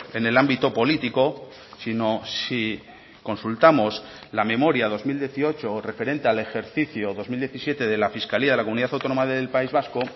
en el ámbito político sino si consultamos la memoria dos mil dieciocho referente al ejercicio dos mil diecisiete de la fiscalía de la comunidad autónoma del país vasco